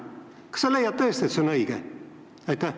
Kas sa leiad tõesti, et see on õige?